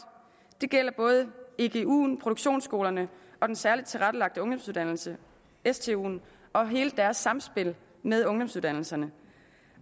det gælder både eguen produktionsskolerne og den særligt tilrettelagte ungdomsuddannelse stuen og hele deres sammenspil med ungdomsuddannelserne